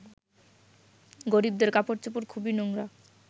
গরিবদের কাপড়চোপড় খুবই নোংরা